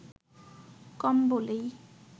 কম বলেই